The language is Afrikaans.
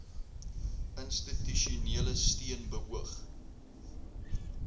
institusionele steun beoog